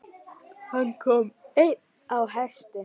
Hann kom einn á hesti.